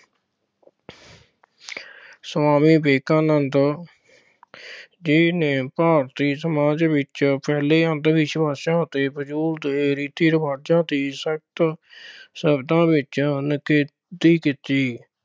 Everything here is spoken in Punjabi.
ਸੁਆਮੀ ਵਿਵੇਕਾਨੰਦ ਜੀ ਨੇ ਭਾਰਤੀ ਸਮਾਜ ਵਿੱਚ ਫੈਲੇ ਅੰਧਵਿਸ਼ਵਾਸਾਂ ਅਤੇ ਫਜ਼ੂਲ ਦੇ ਰੀਤੀ ਰੀਵਾਜ਼ਾਂ ਦੀ ਸਖਤ ਸ਼ਬਦਾਂ ਵਿੱਚ ਨਿਖੇਧੀ ਕੀਤੀ।